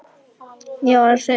Já, að sumu leyti.